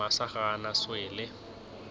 masa ga a na swele